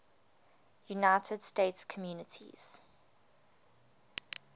united states communities